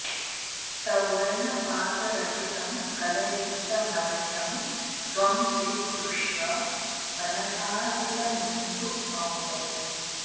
सौवर्ण पात्र रचितं फल युक्तमर्घ्यं त्वं स्वीकुरुष्व मनसार्पितमिन्दुमौलै